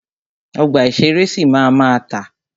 Ọgbà ìṣẹ̀rẹ́ sì máa ma tà.